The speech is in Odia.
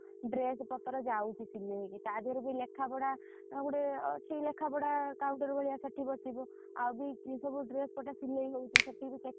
ଯଉ dress ପଟା ଯାଉଛି ସିଲେଇ ହେଇକି ତାର ଗୋଟେ ଲେଖା ପଡା ଅଛି counter ଭଳିଆ ସେଠି ବସିବି ଆଉ ବି ଯଉ ଡ୍ରେସ ପଟା ସିଲେଇ ହଉଛି ସେଥିବି checking ହଉଥିବ ସେଠି